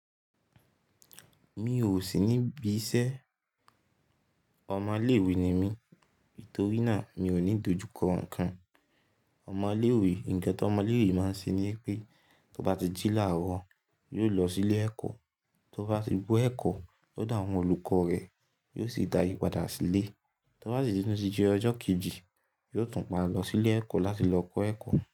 Mi ò sì ní bí iṣẹ́. Ọmọ ilé ìwé ni mí, nítorí náà mi ò ní dojú kọ ǹkan. Ọmọ ilé ìwé, ǹjẹ́ tí ọmọ ilé ìwé máa ń ṣe ni pé tó bá ti jí láàrọ̀, yóò lọ sí ilé ẹ̀kọ́, tó bá ti bó ẹ̀kọ́ lọ́dọ̀ àwọn olùkọ́ rẹ̀, yóò sì darí padà sílé. Tó bá sì tún ti di ọjọ́ kejì, yóò tún pa lọ sí ilé ẹ̀kọ́ láti lọ kọ́ ẹ̀kọ́